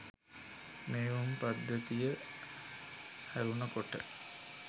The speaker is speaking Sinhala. මෙහෙයුම් පද්ධතිය හැරුන කොට